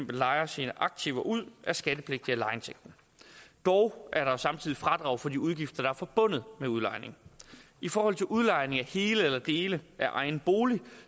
lejer sine aktiver ud er skattepligtig af lejeindtægten dog er der samtidig fradrag for de udgifter der er forbundet med udlejningen i forhold til udlejning af hele eller dele af egen bolig